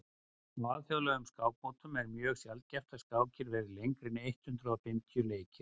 á alþjóðlegum skákmótum er mjög sjaldgæft að skákir verði lengri en eitt hundruð fimmtíu leikir